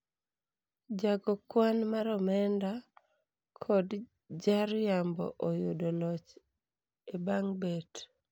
jago kwan mar omenda kod jariambo oyudo loch e bang bet